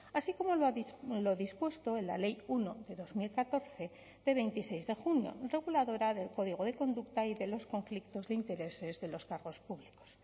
así como lo dispuesto en la ley uno de dos mil catorce de veintiséis de junio reguladora del código de conducta y de los conflictos de intereses de los cargos públicos